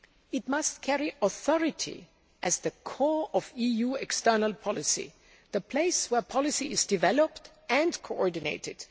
It must carry authority as the core of EU external policy, the place where policy is developed and coordinated.